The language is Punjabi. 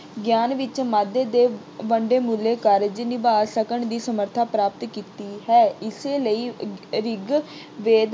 ਗਿਆਨ ਵਿੱਚ ਵਾਧੇ ਦੇ ਵੱਡਮੁੱਲੇ ਕਾਰਜ ਨਿਭਾ ਸਕਣ ਦੀ ਸਮਰੱਥਾ ਪ੍ਰਾਪਤ ਕੀਤੀ ਹੈ। ਏਸੇ ਲਈ ਰਿਗ ਅਹ ਰਿਗਵੇਦ